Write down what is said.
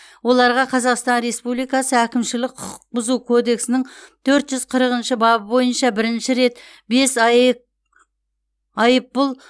оларға қазақстан республикасы әкімшілік құқық бұзу кодексінің төрт жүз қырықыншы бабы бойынша бірінші рет бес аек айыппұл